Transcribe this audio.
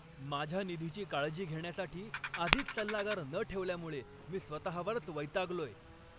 माझ्या निधीची काळजी घेण्यासाठी आधीच सल्लागार न ठेवल्यामुळे मी स्वतःवरच वैतागलोय.